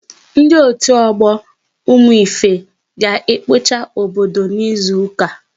Ndị otu ọgbọ Ụmụife, ga ekpocha obodo n'izuka ọzọ